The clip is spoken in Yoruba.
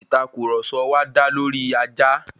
Ìtàkurọ̀sọ wá dá lọri ajá.